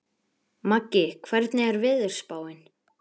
Maggi, hvernig er veðurspáin?